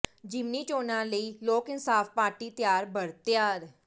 ਜਿਮਨੀ ਚੋਣਾਂ ਲਈ ਲੋਕ ਇਨਸਾਫ ਪਾਰਟੀ ਤਿਆਰ ਬਰ ਤਿਆਰ